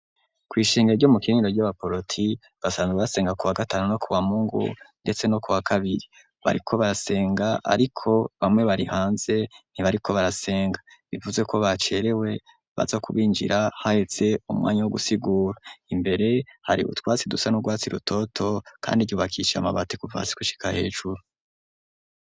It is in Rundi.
Kw'ishengeya ryo mu kiniro ry'abaporoti basanzwe basenga ku wa gatanu no ku wa mungu, ndetse no ku wa kabiri bariko barasenga, ariko bamwe bari hanze ntibariko barasenga bivuze ko bacerewe baza kubinjira hahetse umwanya wo gusigura imbere hari butwatsi dusa n'urwatsi rutoto, kandi ryubakisha amabatiw guvasi gushika hecuru.